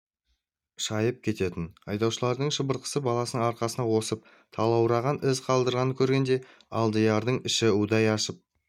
шайып кететін айдаушылардың шыбыртқысы баласының арқасын осып талаураған із қалдырғанын көргенде алдиярдың іші удай ашып